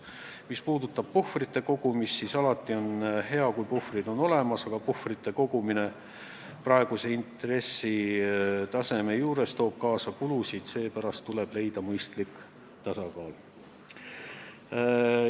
Mis puutub puhvritesse, siis alati on hea, kui puhvrid on olemas, aga puhvritesse raha kogumine toob praeguse intressitaseme juures kaasa kulusid, seepärast tuleb leida mõistlik tasakaal.